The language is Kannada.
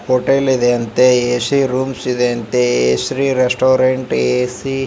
ಹೋಟೆಲ್ ಇದೆ ಅಂತೇ ಎ ಸೀ ರೂಮ್ಸ್ ಇದೆ ಅಂತೇ ಎ.ಸಿ ರೆಸ್ಟೋರೆಂಟ್ ಎ ಸೀ .